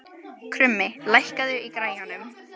Krummi, lækkaðu í græjunum.